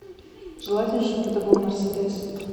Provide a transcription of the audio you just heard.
желательно чтобы это был мерседес